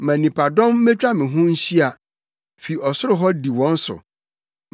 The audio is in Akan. Ma nnipadɔm mmetwa wo ho nhyia. Fi ɔsoro hɔ di wɔn so;